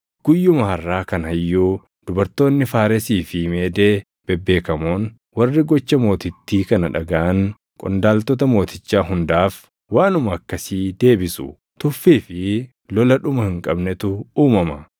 Guyyuma harʼaa kana iyyuu dubartoonni Faaresii fi Meedee bebeekamoon warri gocha mootittii kana dhagaʼan qondaaltota mootichaa hundaaf waanuma akkasii deebisu. Tuffii fi lola dhuma hin qabnetu uumama.